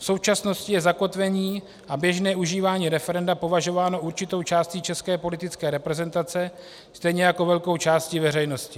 V současnosti je zakotvení a běžné užívání referenda považováno určitou částí české politické reprezentace, stejně jako velkou částí veřejnosti.